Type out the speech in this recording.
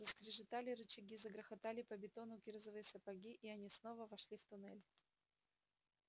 заскрежетали рычаги загрохотали по бетону кирзовые сапоги и они снова вошли в туннель